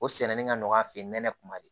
O sɛnɛni ka nɔgɔ a fɛ yen nɛnɛ kuma de